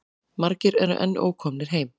Margir eru enn ókomnir heim.